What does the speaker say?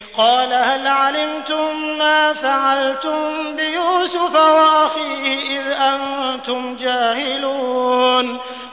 قَالَ هَلْ عَلِمْتُم مَّا فَعَلْتُم بِيُوسُفَ وَأَخِيهِ إِذْ أَنتُمْ جَاهِلُونَ